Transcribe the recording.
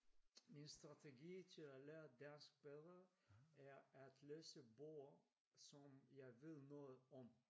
Min strategi til at lære dansk bedre er at læse bøger som jeg ved noget om